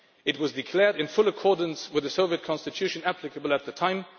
It was declared in full accordance with the Soviet constitution applicable at the time